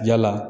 Yala